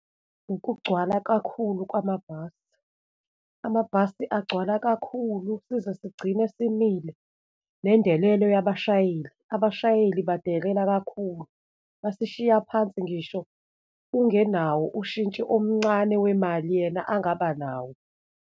Ukugcwala kakhulu kwamabhasi, amabhasi agcwala kakhulu size sigcine simile, nendelelo yabashayeli, abashayeli badelela kakhulu, basishiya phansi ngisho ungenawo ushintshi omncane wemali yena angaba nawo.